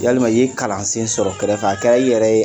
Yalima i ye kalan sen sɔrɔ kɛrɛfɛ a kɛra i yɛrɛ ye